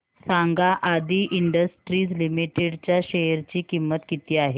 सांगा Aadi industries limited च्या share ची किंमत किती आहे